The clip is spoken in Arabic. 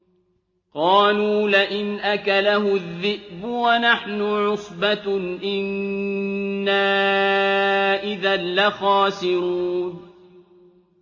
قَالُوا لَئِنْ أَكَلَهُ الذِّئْبُ وَنَحْنُ عُصْبَةٌ إِنَّا إِذًا لَّخَاسِرُونَ